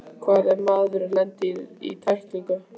Hvað ef maðurinn lendir í tæklingunni?